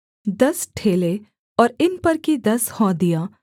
दस ठेले और इन पर की दस हौदियाँ